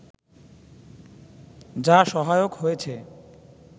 যা সহায়ক হয়েছে